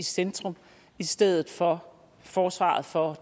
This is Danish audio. i centrum i stedet for forsvaret for